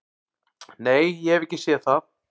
"""Nei, ég hef ekki séð það."""